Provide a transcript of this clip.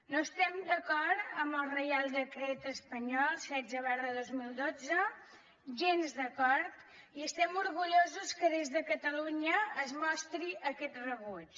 no estem d’acord amb el reial decret espanyol setze dos mil dotze gens d’acord i estem orgullosos que des de catalunya es mostri aquest rebuig